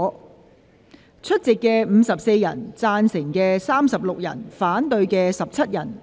代理主席宣布有54人出席 ，36 人贊成 ，17 人反對。